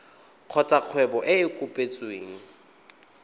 kgotsa kgwebo e e kopetsweng